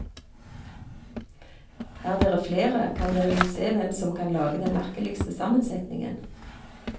Er dere flere kan dere jo se hvem som kan lage den merkeligste sammensetningen.